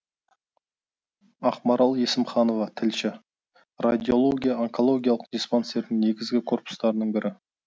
ақмарал есімханова тілші радиология онкологиялық диспансердің негізгі корпустарының бірі